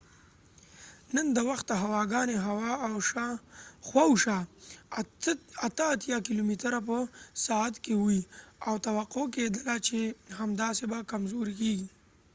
نن د وخته هوا ګانی خوا او شا 83 کېلو متره په ساعت کې وي او توقع کېدله چې همداسې به کمزوری کېږي